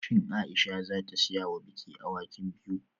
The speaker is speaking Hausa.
Shin Aisha za ta siya wa biki awakin biyu?